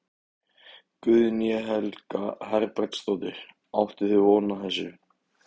Guðný Helga Herbertsdóttir: Áttuð þið von á þessu?